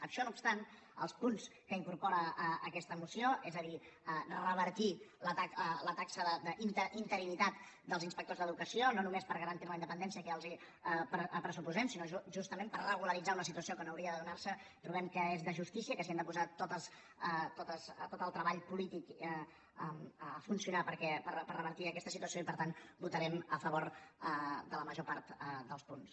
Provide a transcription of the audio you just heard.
això no obstant el punts que incorpora aquesta moció és a dir revertir la taxa d’interinitat dels inspectors d’educació no només per garantir ne la independència que ja els pressuposem sinó justament per regularitzar una situació que no hauria de donar se trobem que és de justícia que si hem de posar tot el treball polític a funcionar per revertir aquesta situació per tant votarem a favor de la major part dels punts